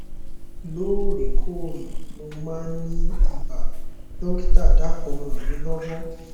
lóòrè kóòrè mo máa ń ní ibà dọkítà dákùn ràn mí lọwọ